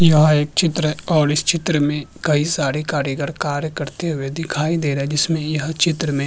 यहाँ एक चित्र है और इस चित्र में कई सारे कारीगर कार्य करते हुए दिखाई दे रहे हैं जिसमे यह चित्र में --